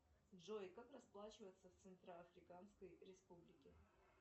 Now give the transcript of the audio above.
джой как расплачиваться в центро африканской республике